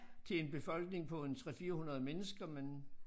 Til en befolkning på en 3 400 mennesker men